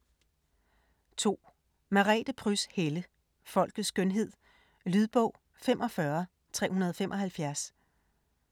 2. Helle, Merete Pryds: Folkets skønhed Lydbog 45375